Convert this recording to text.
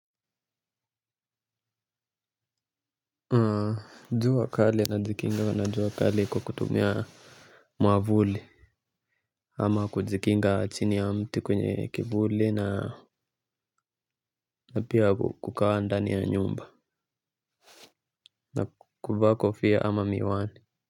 Jua kali najikinga na jua kali kwa kutumia mwavuli. Ama kujikinga chini ya mti kwenye kivuli na na pia kukaa ndani ya nyumba na kuvaa kofia ama miwani.